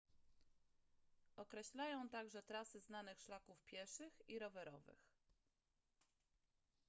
określają także trasy znanych szlaków pieszych i rowerowych